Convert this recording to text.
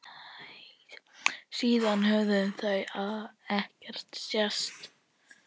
Síðan höfðu þau ekki sést.